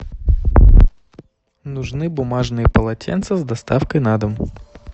нужны бумажные полотенца с доставкой на дом